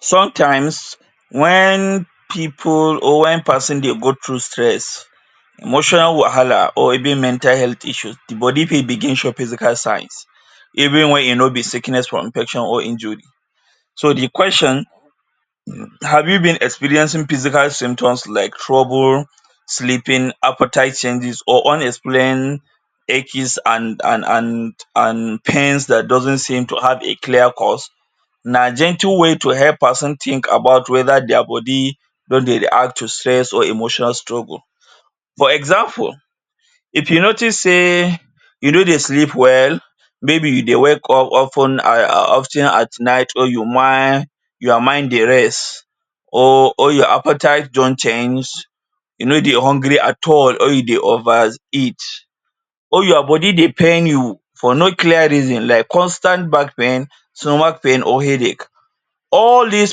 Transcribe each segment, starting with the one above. Sometimes wen people or wen person dey go through stress, emotional wahala or even mental health issues body fit begin show physical signs even wen e no be sickness from infection or injury so the question? have you been experiencing physical symptoms like trouble sleeping, appetite changes or unexplained aches? and and pains that doesn't seem to have a clear cause? Na gentle way to help person think about whether their body don dey react to stress or emotional struggle. For example, if you notice say you no dey sleep well. Maybe you dey wake up of ten? of ten at night or you? your mind dey rest or or your appetite don change, you no dey hungry at all or you dey over eat or your body dey pain you for no clear reason like constant back pain, stomach pain or headache. All dis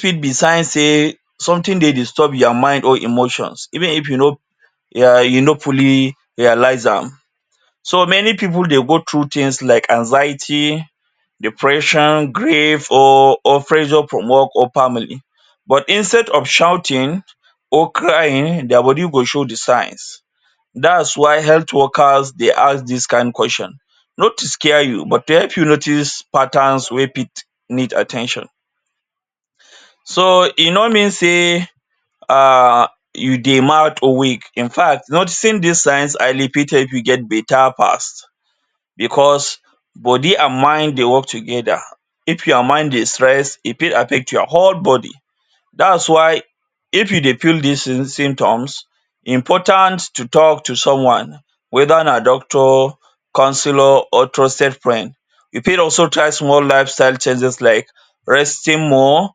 fit be sign say something dey disturb your mind or emotions even if you no um you no fully realize am. So many people dey go through things like anxiety, depression, grief or or pressure from work or family but instead of shouting or crying, their body go show the signs. Dats why health workers dey ask dis kain question, not to scare you but to help you notice patterns wey fit need at ten tion. So e no mean say um you dey mad or weak. Infact noticing dis signs early fit help you get better fast because body and mind dey work together. If your mind is stressed, e fit affect your whole body. Dats why if you dey feel dis symptoms, important to talk to someone whether na doctor, counsellor or trusted friend. You fit also try small lifestyle changes like resting more,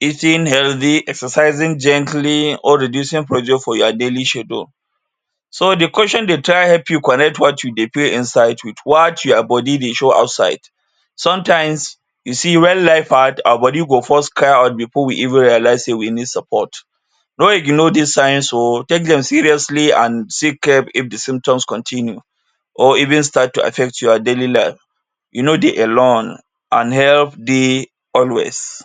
eating healthy, exercising gently or reducing pressure from your daily schedule. So the question dey try help you connect what you dey feel inside with what your body dey show outside. Sometimes, you see wen life hard, our body go first cry out before we even realize say we need support. No ignore dis signs oo, take dem seriously and still check if the symptoms continue or even start to affect your daily life. You no dey alone. An help dey always.